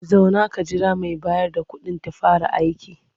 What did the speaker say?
Zauna ka jira mai bayar da kuɗin ta fara aiki.